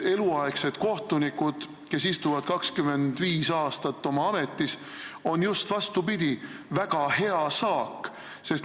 Eluaegsed kohtunikud, kes istuvad 25 aastat oma ametis, on just, vastupidi, väga hea saak.